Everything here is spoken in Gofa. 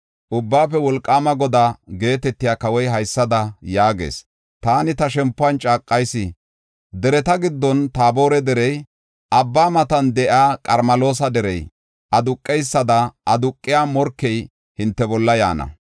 “Ubbaafe Wolqaama Godaa” geetetiya kawoy haysada yaagees: “Taani, ta shempuwan caaqayis; dereta giddon Taabore Derey, abba matan de7iya Qarmeloosa Derey, aduqeysada aduqiya morkey hinte bolla yaana.